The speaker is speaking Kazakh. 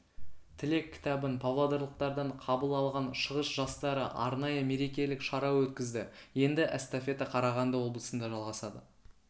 тілек кітабын павлодарлықтардан қабыл алған шығыс жастары арнайы мерекелік шара өткізді енді эстафета қарағанды облысында жалғасады